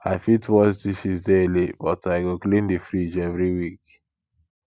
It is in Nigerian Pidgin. i fit wash dishes daily but i go clean the fridge every week